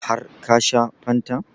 Har ka shan fantan?